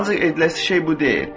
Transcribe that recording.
Ancaq ediləsi şey bu deyil.